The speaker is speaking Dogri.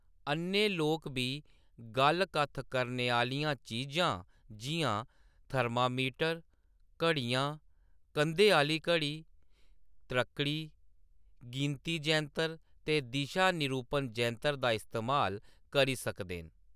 अ'न्ने लोक बी गल्ल-कत्थ करने आह्‌‌‌लियां चीजां जिʼयां थरमामीटर, घड़ियां, कंधै आह्‌ली घड़ी, त्रक्कड़ी, गिनती-जैंतर ते दिशा निरूपण जैंतर दा इस्तेमाल करी सकदे न।